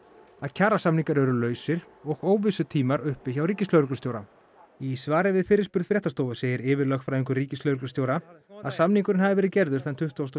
að kjarasamningar eru lausir og óvissutímar uppi hjá ríkislögreglustjóra í svari við fyrirspurn fréttastofu segir yfirlögfræðingur ríkislögreglustjóra að samningurinn hafi verið gerður þann tuttugasta